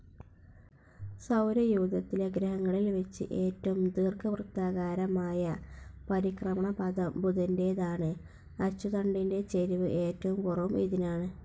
സൗരയൂഥത്തിലെ ഗ്രഹങ്ങളിൽ വെച്ച് ഏറ്റവും ദീർഘവൃത്താകാരമായ പരിക്രമണപഥം ബുധൻ്റേതാണ്, അച്ചുതണ്ടിൻ്റെ ചരിവ് ഏറ്റവും കുറവും ഇതിനാണ്.